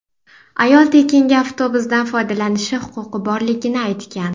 Ayol tekinga avtobusdan foydalanishi huquqi borligini aytgan.